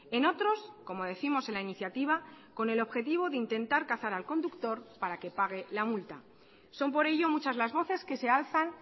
en otros como décimos en la iniciativa con el objetivo de intentar cazar al conductor para que pague la multa son por ello muchas las voces que se alzan